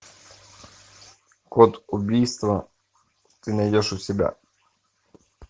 код убийства ты найдешь у себя